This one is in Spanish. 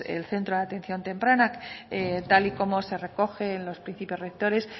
el centro de atención temprana tal y como se recoge en los principios rectores